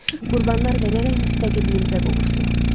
Qurbanlar verərək müstəqilliyimizə qovuşduq.